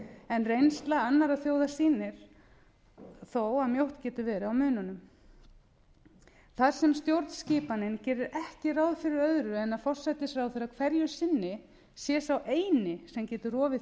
en reynsla annarra þjóða sýnir þó að mjótt getur verið á mununum þar sem stjórnskipanin gerir ekki ráð fyrir öðru en að forsætisráðherra hverju sinni sé sá eini sem getur rofið